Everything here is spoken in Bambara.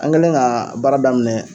An kɛlen ka baara daminɛ